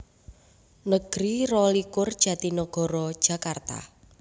Negeri rolikur Jatinagara Jakarta